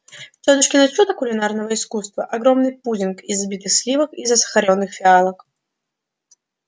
тётушкино чудо кулинарного искусства огромный пудинг из взбитых сливок и засахарённых фиалок